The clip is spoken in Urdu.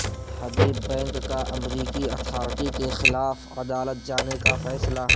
حبیب بینک کا امریکی اتھارٹی کے خلاف عدالت جانے کا فیصلہ